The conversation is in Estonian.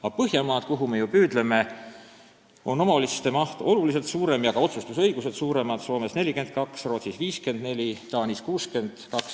Aga Põhjamaades, mille poole me ju püüdleme, on omavalitsuste eelarvete kogumaht oluliselt suurem ja ka otsustusõigus on seal suurem: Soomes 42%, Rootsis 54% ja Taanis 62%.